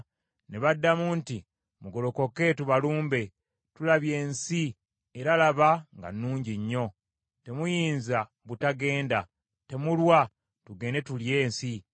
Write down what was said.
Ne baddamu nti, “Mugolokoke, tubalumbe. Tulabye ensi, era laba, nga nnungi nnyo. Temuyinza butagenda. Temulwa, tugende tulye ensi.